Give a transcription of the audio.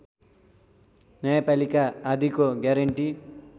न्यायपालिका आदिको ग्यारेन्टी